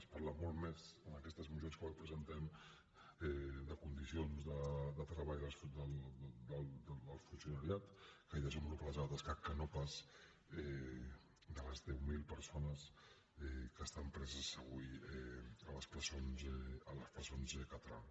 es parla molt més en aquestes mocions que avui presentem de les condicions de treball del funcionariat que hi desenvolupa la seva tasca que no pas de les deu mil persones que estan preses avui a les presons catalanes